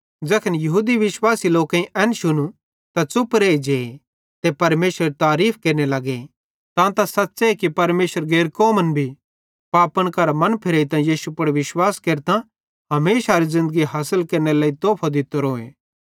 ज़ैखन यहूदी विश्वासी लोकेईं एन शुनू त च़ुप रेइजे ते परमेशरेरी तारीफ़ केरने लगे तां त सच़्च़े कि परमेशरे गैर कौमन भी पापन करां मन फिरेइतां यीशु पुड़ विश्वास केरतां हमेशारी ज़िन्दगी हासिल केरनेरो तोफो दित्तोरोए